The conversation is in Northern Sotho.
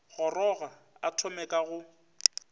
goroga a thome ka go